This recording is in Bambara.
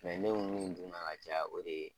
Mɛ ne bɛ min dunna ka caya o de ye